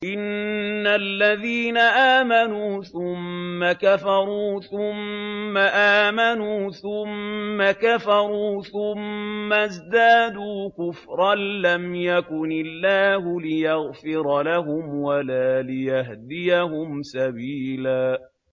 إِنَّ الَّذِينَ آمَنُوا ثُمَّ كَفَرُوا ثُمَّ آمَنُوا ثُمَّ كَفَرُوا ثُمَّ ازْدَادُوا كُفْرًا لَّمْ يَكُنِ اللَّهُ لِيَغْفِرَ لَهُمْ وَلَا لِيَهْدِيَهُمْ سَبِيلًا